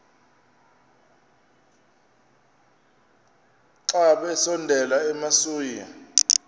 xa besondela emasuie